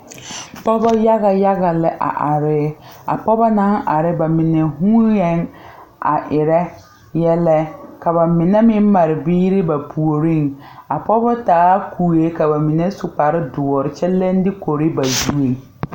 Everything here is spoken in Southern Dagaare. Pɔgeba yaga yaga la a are a pɔgeba naŋ are ba mine vuunee a erɛ yɛllɛ ka ba mine meŋ mare biiri ba puoriŋ a pɔgeba taa kue ka ba mine su kparedoɔre kyɛ leŋ dukore ba zureŋ.